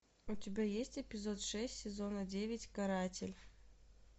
у тебя есть эпизод шесть сезона девять каратель